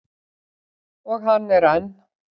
Og hann er enn.